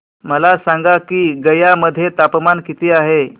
मला सांगा की गया मध्ये तापमान किती आहे